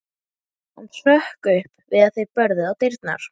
Raddirnar streyma til hennar einsog kliðmjúkar endurtekningar.